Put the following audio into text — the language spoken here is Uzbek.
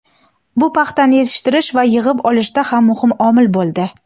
Bu paxtani yetishtirish va yig‘ib olishda ham muhim omil bo‘ldi.